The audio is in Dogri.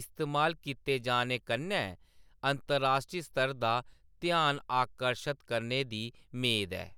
इस्तेमाल कीते जाने कन्नै अंतर्राश्ट्री स्तर दा ध्यान आकर्शत करने दी मेद ऐ।